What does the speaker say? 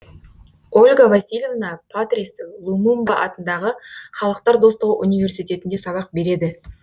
ольга васильевна патрис лумумба атындағы халықтар достығы университетінде сабақ береді